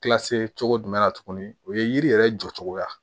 Kilasi cogo jumɛn na tuguni o ye yiri yɛrɛ jɔcogoya ye